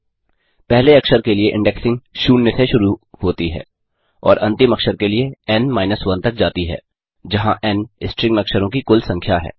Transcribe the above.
पहले अक्षर के लिए इंडेक्सिंग 0 से शुरू होती है और अंतिम अक्षर के लिए एन माइनस 1 तक जाती है जहाँ एन स्ट्रिंग में अक्षरों की कुल संख्या है